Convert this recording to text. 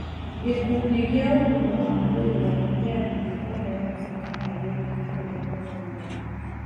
Gĩkundi gĩa ũgima wa mwĩrĩ wa gĩa thĩ kũheana mũkana wĩgiĩ kũrũmwo nĩ nyoka.